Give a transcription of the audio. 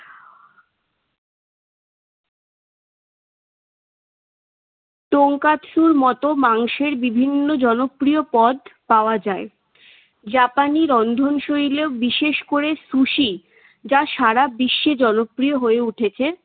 তঙ্কাৎসুর মতো মাংসের বিভিন্ন জনপ্রিয় পদ পাওয়া যায়। জাপানি রন্ধনশৈল বিশেষ করে সুসি বিশ্বে জনপ্রিয় হয়ে উঠেছে।